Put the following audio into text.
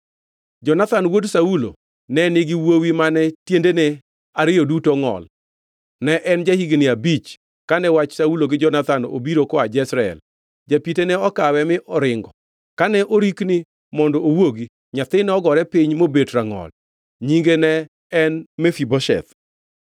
Jonathan wuod Saulo ne nigi wuowi mane tiendene ariyo duto ongʼol. Ne en ja-higni abich kane wach Saulo gi Jonathan obiro koa Jezreel. Japite ne okawe mi oringo, kane orikni mondo owuogi nyathi nogore piny mobet rangʼol. Nyinge ne en Mefibosheth.